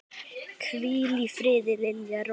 Hvíl í friði, Lilja Rós.